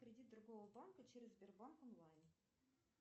кредит другого банка через сбербанк онлайн